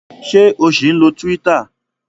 Ṣé o ṣì ń lo Twitter?